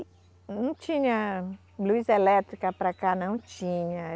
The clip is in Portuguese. E não tinha luz elétrica para cá, não tinha.